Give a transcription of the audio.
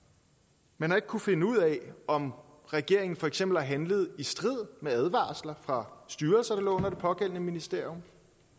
man har ikke kunnet finde ud af om regeringen for eksempel har handlet i strid med advarsler fra styrelser der lå under det pågældende ministerium